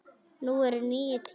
Nú eru nýir tímar.